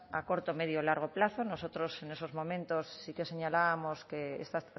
a corto medio y largo plazo nosotros en esos momentos sí que señalábamos que esta